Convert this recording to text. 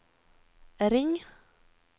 ring